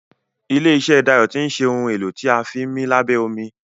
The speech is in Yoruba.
ilé iṣé Dayo tin ṣe Ohun èlò tí a fi ńmí lábẹ́ omi.